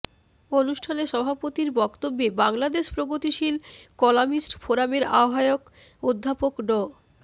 অনুষ্ঠানে সভাপতির বক্তব্যে বাংলাদেশ প্রগতিশীল কলামিস্ট ফোরামের আহ্বায়ক অধ্যাপক ড